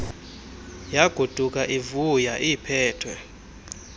yagoduka ivuya iiphethwe